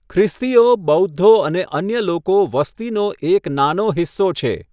ખ્રિસ્તીઓ, બૌદ્ધો અને અન્ય લોકો વસ્તીનો એક નાનો હિસ્સો છે.